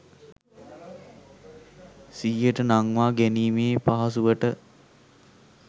සිහියට නංවා ගැනීමේ පහසුවට